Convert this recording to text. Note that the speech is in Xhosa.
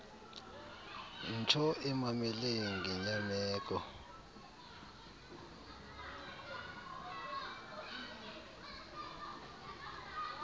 ntsho emamele ngenyameko